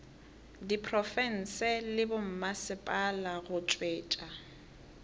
diprofense le bommasepala go tšwetša